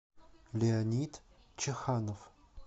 леонид чаханов